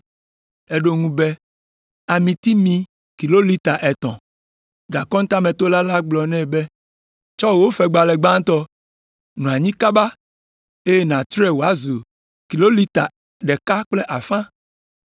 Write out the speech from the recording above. “Eɖo eŋu be, ‘Amitimi kilolita etɔ̃.’ “Gakɔntametola gblɔ nɛ be, ‘Tsɔ wò fegbalẽ gbãtɔ, nɔ anyi kaba, eye nàtrɔe wòazu kilolita ɖeka kple afã.’